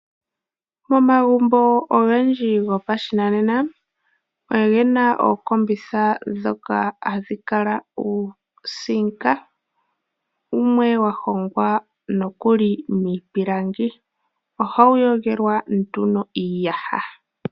Momagumbo ogendji gopashinanena oge a ookombitha ndhoka hadhi kala dhina uutemba wumwe wa hongwa nokuli miipilangi. Ohawu yogelwa nduno iiyaha.